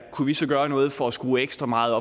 kunne vi så gøre noget for at skrue ekstra meget